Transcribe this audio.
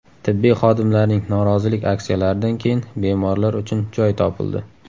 Tibbiy xodimlarning norozilik aksiyalaridan keyin bemorlar uchun joy topildi.